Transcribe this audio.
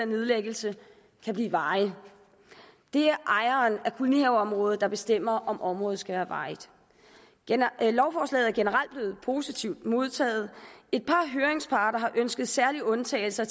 nedlæggelse kan blive varige det er ejeren af kolonihaveområdet der bestemmer om området skal være varigt lovforslaget er generelt blevet positivt modtaget et par høringsparter har ønsket særlige undtagelser